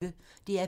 DR P1